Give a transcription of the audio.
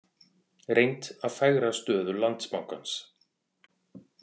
Reynt að fegra stöðu Landsbankans